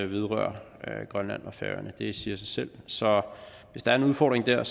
vedrører grønland og færøerne det siger sig selv så hvis der er en udfordring der